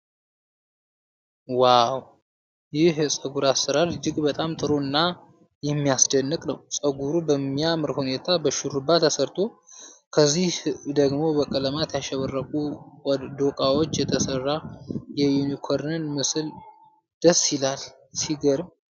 ዋው! ይህ የፀጉር አሠራር እጅግ በጣም ጥሩ እና የሚያስደንቅ ነው! ፀጉሩ በሚያምር ሁኔታ በሹሩባ ተሰርቶ፣ ከኋላ ደግሞ በቀለማት ያሸበረቁ ዶቃዎች የተሰራ የዩኒኮርን ምስል ደስ ይላል። ሲገርም!